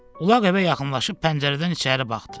Ulaq evə yaxınlaşıb pəncərədən içəri baxdı.